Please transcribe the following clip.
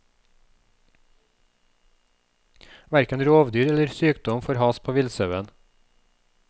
Hverken rovdyr eller sykdom får has på villsauen.